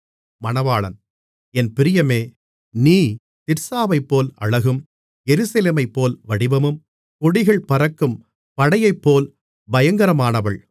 என் பிரியமே நீ திர்சாவைப்போல் அழகும் எருசலேமைப்போல் வடிவமும் கொடிகள் பறக்கும் படையைப்போல் பயங்கரமானவள்